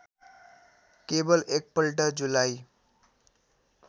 केवल एकपल्ट जुलाई